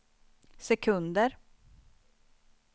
sekunder